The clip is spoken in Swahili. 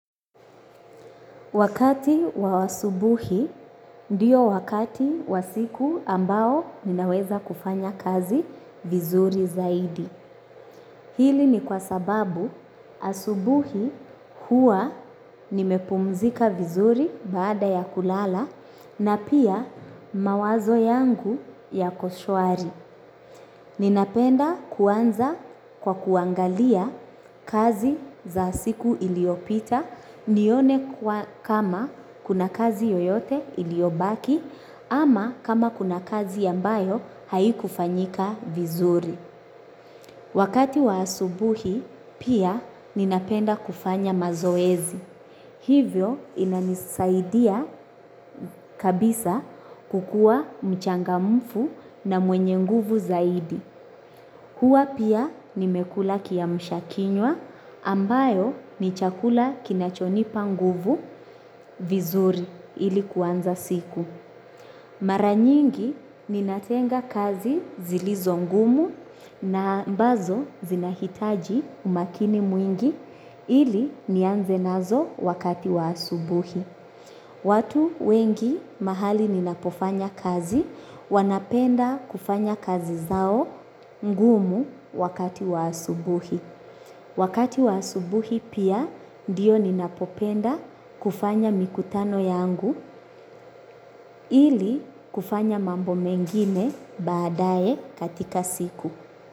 Wakati wa wa asubuhi, ndiyo wakati wa siku ambao ninaweza kufanya kazi vizuri zaidi. Hili ni kwa sababu asubuhi hua nimepumzika vizuri baada ya kulala na pia mawazo yangu yako shwari. Ninapenda kuanza kwa kuangalia kazi za siku iliopita nione kama kuna kazi yoyote iliobaki ama kama kuna kazi ambayo haikufanyika vizuri. Wakati wa asubuhi pia ninapenda kufanya mazoezi. Hivyo inanisaidia kabisa kukua mchangamfu na mwenye nguvu zaidi. Kua pia nimekula kiamsha kinywa ambayo ni chakula kinachonipa nguvu vizuri ili kuanza siku. Mara nyingi ninatenga kazi zilizo ngumu na ambazo zinahitaji umakini mwingi ili nianze nazo wakati wa asubuhi. Watu wengi mahali ninapofanya kazi wanapenda kufanya kazi zao ngumu wakati wa asubuhi. Wakati wa asubuhi pia ndiyo ninapopenda kufanya mikutano yangu ili kufanya mambo mengine baadae katika siku.